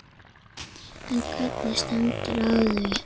En hvernig stendur á því?